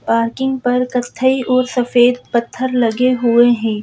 Parking पर कथई और सफेद पत्थर लगे हुए हैं ।